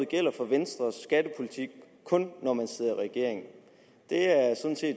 gælder for venstres skattepolitik når man sidder i regering det er